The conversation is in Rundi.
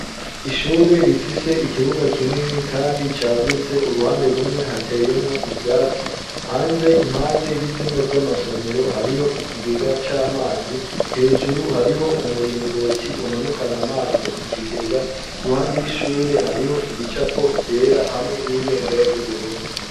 Ishure rifise ikibuga kinini, kandi cagutse uruhande rumwe hateyemwo ivyatsi hanze impande y'ivyumba vy'amasomero hariho ikigega c'amazi hejuru hariho umuringoti umanukana amazi mu kigega iruhande y'ishure hariho ibicapo vyera hamwe n'ibendera ry'uburundi.